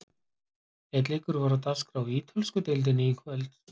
Einn leikur var á dagskrá í Ítölsku deildinni í kvöld.